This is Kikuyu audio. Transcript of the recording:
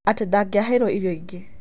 atĩ ndangĩaheirwo Irio ingĩ.